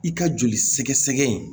I ka joli sɛgɛsɛgɛ in